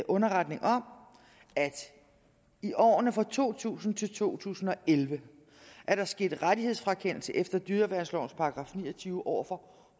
underretning om at i årene fra to tusind til to tusind og elleve er der sket rettighedsfrakendelse efter dyreværnslovens § ni og tyve over for